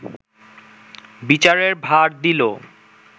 বিচারের ভার দিল